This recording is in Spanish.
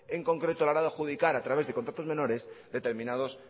en concreto a la hora de adjudicar a través de contratos menores determinados